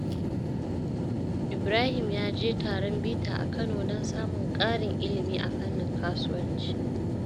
Ibrahim ya je taron bita a Kano don samun ƙarin ilimi a fannin kasuwanci.